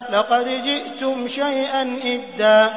لَّقَدْ جِئْتُمْ شَيْئًا إِدًّا